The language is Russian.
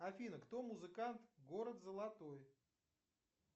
афина кто музыкант город золотой